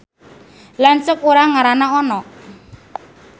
Lanceuk urang ngaranna Ono